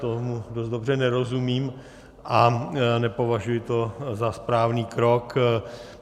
Tomu dost dobře nerozumím a nepovažuji to za správný krok.